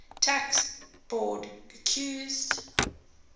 tax board accused